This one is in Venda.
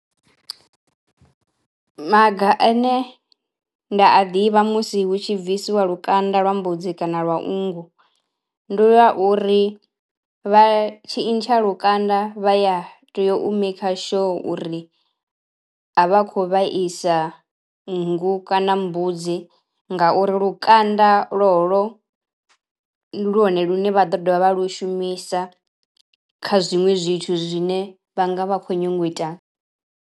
Maga ane nda a ḓivha musi hu tshi bvisiwa lukanda lwa mbudzi kana lwa nngu ndi ya uri vha tshi ntsha lukanda vha ya tea u maker sure uri a vha khou vhaisa nngu kana mbudzi ngauri lukanda lolo ndi lwone lune vha ḓo dovha vha lu shumisa kha zwiṅwe zwithu zwine vha nga vha khou nyango u ita.